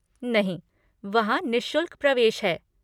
नहीं, वहाँ निःशुल्क प्रवेश है।